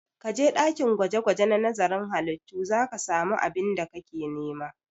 Ka je ɗakin gwaje-gwaje na nazarin halittu za ka samu abin da kake nema!